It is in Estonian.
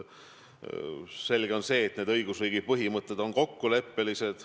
Selge on see, et õigusriigi põhimõtted on kokkuleppelised.